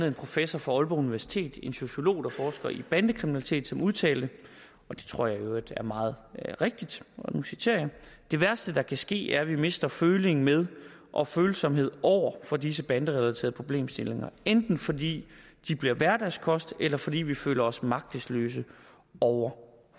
en professor fra aalborg universitet en sociolog der forsker i bandekriminalitet som udtalte og det tror jeg i øvrigt er meget rigtigt og nu citerer jeg det værste der kan ske er at vi mister følingen med og følsomheden over for disse banderelaterede problemstillinger enten fordi de bliver hverdagskost eller fordi vi føler os magtesløse over